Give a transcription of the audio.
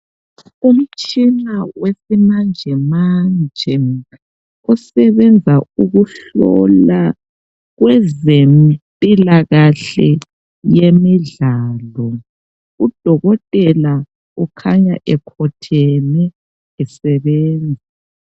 Umtshina wesimanjemanje osebenza ukuhlola kwezempilakahle yemidlalo udokotela ukhanya ekhotheme esebenza.